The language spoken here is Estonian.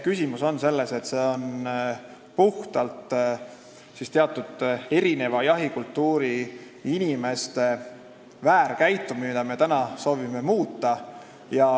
Küsimus on selles, et see on puhtalt teatud erineva jahikultuuriga inimeste väärkäitumine, mida me soovime muuta.